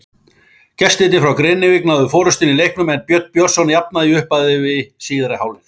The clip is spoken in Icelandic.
Gestirnir frá Grenivík náðu forystunni í leiknum en Björn Björnsson jafnaði í upphafi síðari hálfleiks.